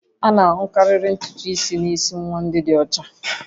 A na-ahụkarị ntutu isi n'isi nwa ndị ọcha